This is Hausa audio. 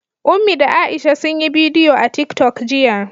Ummi da Aisha sun yi bidiyo a TikTok jiya.